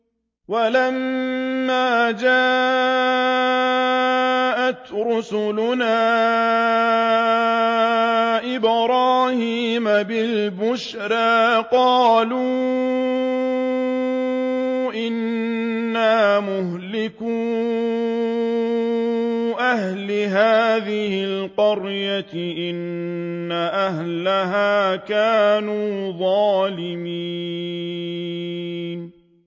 وَلَمَّا جَاءَتْ رُسُلُنَا إِبْرَاهِيمَ بِالْبُشْرَىٰ قَالُوا إِنَّا مُهْلِكُو أَهْلِ هَٰذِهِ الْقَرْيَةِ ۖ إِنَّ أَهْلَهَا كَانُوا ظَالِمِينَ